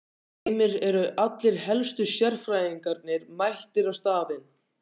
Heimir, eru allir helstu sérfræðingarnir mættir á staðinn?